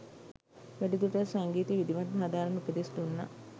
වැඩි දුරටත් සංගීතය විධිමත්ව හදාරන්න උපදෙස් දුන්නා